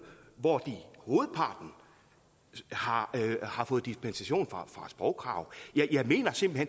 hvoraf hovedparten har har fået dispensation fra sprogkravet jeg mener simpelt